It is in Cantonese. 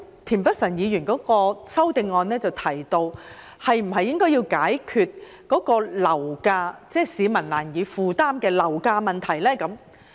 田北辰議員的修正案提到要解決市民難以負擔的樓價問題。